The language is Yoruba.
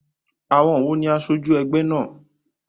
Àwon wo ní asojú egbé náà?